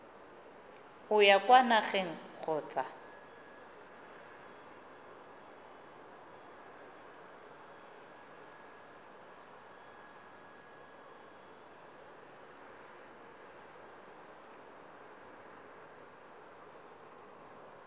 o ya kwa nageng kgotsa